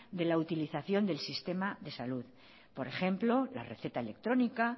de la utilización del sistema de salud por ejemplo la receta electrónica